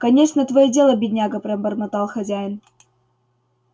кончено твоё дело бедняга пробормотал хозяин